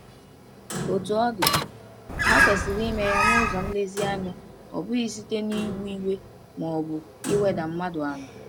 Otú ọ dị, ha kwesịrị ime ya n’ụzọ nlezianya, ọ bụghị site n’iwu iwe ma ọ bụ iweda mmadụ ala.